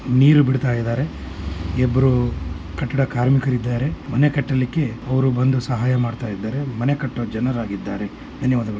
ನೀರು ಬಿಡ್ತಾ ಇದ್ದಾರೆ ಇಬ್ಬರು ಕಟ್ಟಡ ಕಾರ್ಮಿಕ್ ಇದ್ದಾರೆ ಮನೆ ಕಟ್ಟಲಿಕ್ಕೆ ಅವರು ಬಂದು ಸಹಾಯ ಮಾಡ್ತಾ ಇದ್ದಾರೆ । ಮನೆ ಕಟ್ಟುವ ಜನರಾಗಿದ್ದಾರೆ ಧನ್ಯವಾದಗಳು ।